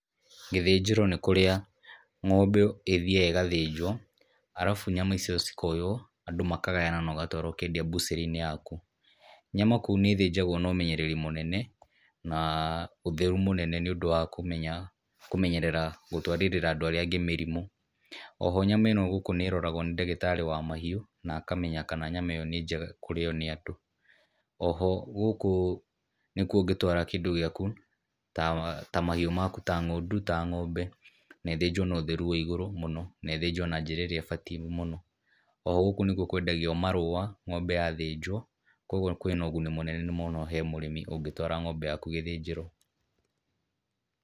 Gĩthĩnjĩro nĩ kũrĩa ng'ombe ĩthiaga ĩgathĩnjwo, arabu nyama icio cikoywo andũ makagayana na ũgatwara ũkendia mbucĩrĩ-inĩ yaku. Nyama kũu nĩ ithinjagwo na ũmenyereri mũnene, na ũtheru mũnene nĩ ũndũ wa kũmenya kũmenyerera gũtwarĩrĩra andũ arĩa angĩ mĩrimũ. Oho nyama ĩno gũkũ nĩ ĩroragwo nĩ ndagĩtarĩ wa mahiũ na akamenya kana nyama ĩyo nĩ njega kũrĩo nĩ andũ. Oho gũkũ nĩkuo ũngĩtwara kĩndũ gĩaku ta mahiũ maku, ta ng'ondu, ta ng'ombe, na ithĩnjwo na ũtheru wĩ igũrũ mũno, na ĩthĩnjwo na njĩra ĩrĩa ĩbatie mũno. O gũkũ nĩkuo kwendagio marũũa ng'ombe ya thĩnjwo, koguo kwĩ na ũguni mũnene mũno he mũrĩmi ũngĩtwara ng'ombe yaku gĩthĩnjĩro.